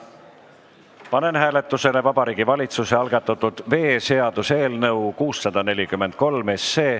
Panen hääletusele Vabariigi Valitsuse algatatud veeseaduse eelnõu .